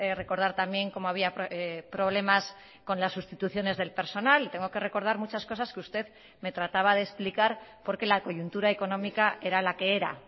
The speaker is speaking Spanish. recordar también cómo había problemas con las sustituciones del personal y tengo que recordar muchas cosas que usted me trataba de explicar por qué la coyuntura económica era la que era